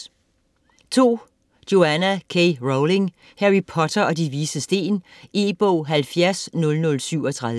Rowling, Joanne K.: Harry Potter og De Vises Sten E-bog 700037